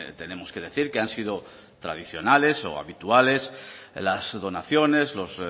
tenemos que decir que han sido tradicionales o habituales las donaciones los